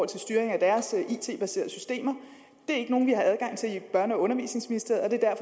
til styring af deres it baserede systemer det er ikke nogen vi har adgang til i børne og undervisningsministeriet og det er